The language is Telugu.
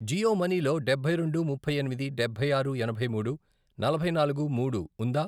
జియో మనీ లో డబ్బై రెండు, ముప్పై ఎనిమిది, డబ్బై ఆరు, ఎనభై మూడు, నలభై నాలుగు, మూడు, ఉందా?